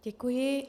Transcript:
Děkuji.